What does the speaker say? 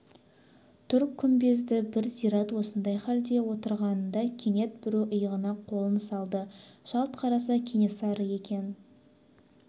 тұр күмбезді бір зират осындай халде отырғанында кенет біреу иығына қолын салды жалт қараса кенесары екен